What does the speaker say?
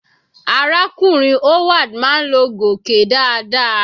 Arákùnrin Howard máa ń lo gòké dáadáa.